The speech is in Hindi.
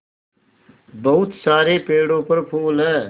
बहुत सारे पेड़ों पर फूल है